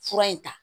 Fura in ta